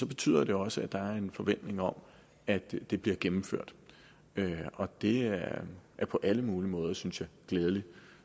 betyder det også at der er en forventning om at det bliver gennemført og det er på alle mulige måder synes jeg glædeligt